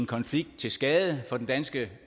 konflikt til skade for den danske